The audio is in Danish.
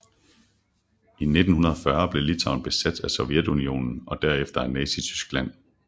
I 1940 blev Litauen besat af Sovjetunionen og derefter af Nazityskland